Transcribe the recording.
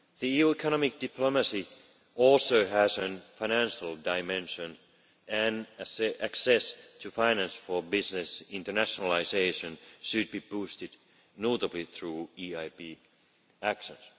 EU economic diplomacy also has a financial dimension and access to finance for business internationalisation should be boosted, notably through EIB actions.